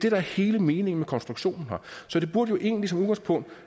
er hele meningen med konstruktionen her så det burde jo egentlig som udgangspunkt